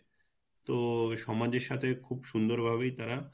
তো সমাজের সাথে খুব সুন্দর ভাবেই তারা